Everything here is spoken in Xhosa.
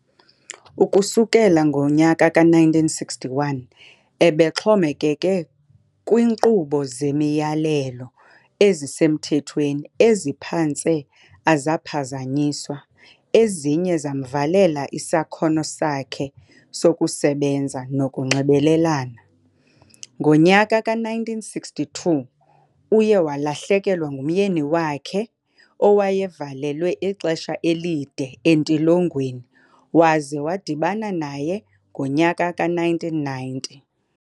Ukusukela ngo-1961 ebexhomekeke kwinqubo zemiyalelo ezisemthethweni eziphantse azaphazanyiswa, eziye zamvalela isakhono sakhe sokusebenza nokunxibelelana. Ngo-1962 uye walahlekelwa ngumnyeni wakhe owayevalelwe ixesha elide entilongweni waze wadibana naye ngo-1990.